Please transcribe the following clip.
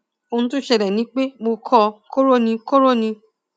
ohun tó ṣẹlẹ ni pé mo kọ koro ni koro ni